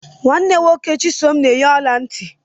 Nwanne nwoke Chisom na eyi ọla nti.